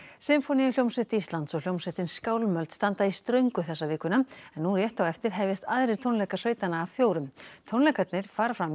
sinfóníuhljómsveit Íslands og hljómsveitin skálmöld standa í ströngu þessa vikuna en nú rétt á eftir hefjast aðrir tónleikar sveitanna af fjórum tónleikarnir fara fram í